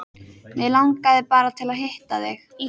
Mig langaði bara til að hitta þig.